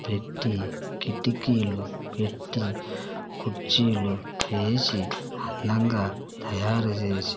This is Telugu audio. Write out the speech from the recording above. పెట్టీ కిటికీలు పెట్టి కుర్చీలు వేసి అందంగా తయారు చేసి --